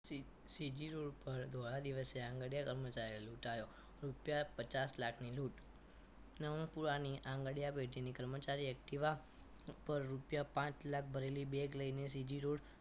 CG road ઉપર ધોળા દિવસે આંગણીયા કર્મચારી લૂંટાયો રૂપિયા પચાસ લાખની લૂંટ નવરંગપુરા ની આંગણીયા પેઢીની કર્મચારી activa પર રૂપિયા પાંચ લાખ ભરેલી beg લઈને CG રોડ